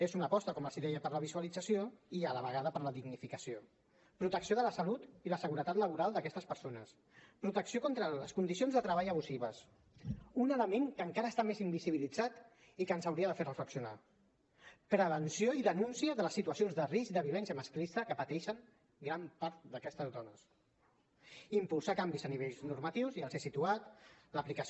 és una aposta com els deia per la visualització i a la vegada per a la dignificació protecció de la salut i la seguretat laboral d’aquestes persones protecció contra les condicions de treball abusives un element que encara està més invisibilitzat i que ens hauria de fer reflexionar prevenció i denúncia de les situacions de risc de violència masclista que pateixen gran part d’aquestes dones impulsar canvis a nivell normatiu ja els he situat l’aplicació